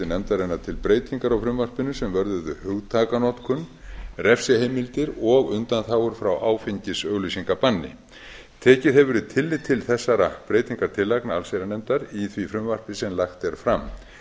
nefndarinnar til breytingar á frumvarpinu sem vörðuðu hugtakanotkun refsiheimildir og undanþágur frá áfengisauglýsingabanni tekið hefur verið tillit til þessara breytingartillagna allsherjarnefndar í því frumvarpi sem lagt er fram